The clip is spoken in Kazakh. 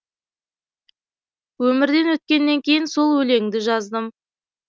өмірден өткеннен кейін сол өлеңді жаздым